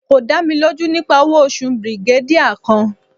ko da mi loju nipa owo osu brigadier kan